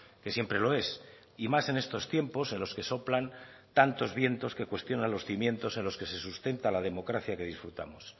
que siempre lo es y más en estos tiempos en los que soplan tantos vientos que cuestionan los cimientos en los que se sustenta la democracia que disfrutamos